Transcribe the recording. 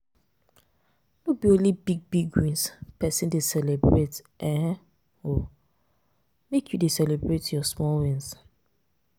No be onle big big wins pesin dey celebrate um o, make you dey celebrate your small wins.